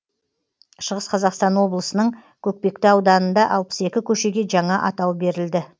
шығыс қазақстан облысының көкпекті ауданында алпыс екі көшеге жаңа атау берілді